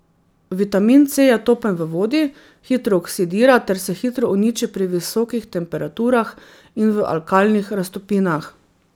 Vitamin C je topen v vodi, hitro oksidira ter se hitro uniči pri visokih temperaturah in v alkalnih raztopinah.